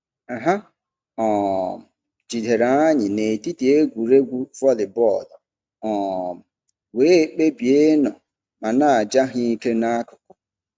Ha um jidere anyị n'etiti egwuregwu vollybọọlụ um wee kpebie ịnọ ma na-aja ha ike n'akụkụ.